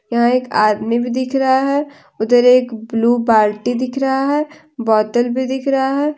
यह एक आदमी भी दिख रहा है उधर एक ब्लू बाल्टी दिख रहा है बोतल भी दिख रहा है।